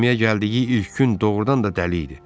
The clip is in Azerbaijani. Gəmiyə gəldiyi ilk gün doğrudan da dəli idi.